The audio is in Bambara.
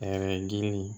dili